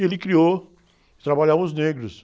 E ele criou, trabalhavam os negros.